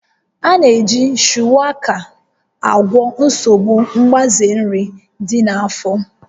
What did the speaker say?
A na-eji Shuwaka agwọ nsogbu mgbaze nri dị na-afọ